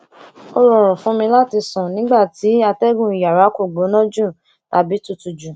o rọrùn fún mi láti sún nígbà tí ìwòn atégùn iyàrá ko gbóná jù tàbí tutù jù